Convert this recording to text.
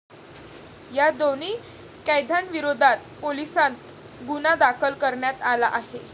या दोन्ही कैद्यांविरोधात पोलिसांत गुन्हा दाखल करण्यात आला आहे.